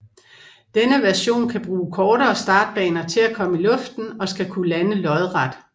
Denne version kan bruge kortere startbaner til at komme i luften og skal kunne lande lodret